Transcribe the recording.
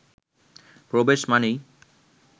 প্রবেশ মানেই